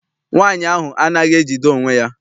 Nwaanyi ahụ anaghị ejide onwe ya.